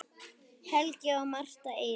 Helgi og Martha Eiríks.